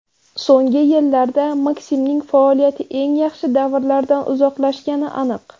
So‘nggi yillarda Maksimning faoliyati eng yaxshi davrlardan uzoqlashgani aniq.